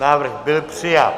Návrh byl přijat.